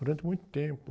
Durante muito tempo.